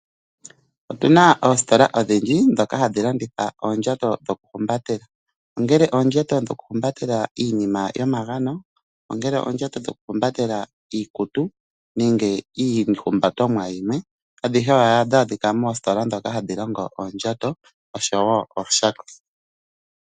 Otuna oositola odhindji ndhoka hadhi landitha oondjato dhoku humbatela ongele oondjato dhoku humbatela iinima yomagano, ongele oondjato dhoku humbatela iikutu nenge iihumbatomwa yimwe. Adhihe ohadhi adhika moositola ndhoka hadhi longo oondjato oshowo ooshako.